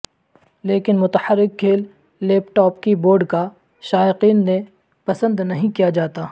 لیکن متحرک کھیل لیپ ٹاپ کی بورڈ کا شائقین نے پسند نہیں کیا جاتا